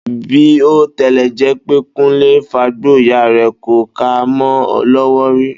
Bí ó tilè̩ jé̩ pé Kúnlé ń fagbó, ìyá rè̩ kò ka mó̩ o̩ ló̩wó̩ ri